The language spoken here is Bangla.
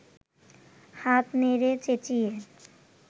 হাত নেড়ে চেঁচিয়ে